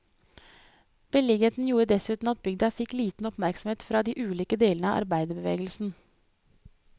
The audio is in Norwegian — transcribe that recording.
Beliggenheten gjorde dessuten at bygda fikk liten oppmerksomhet fra de ulike delene av arbeiderbevegelsen.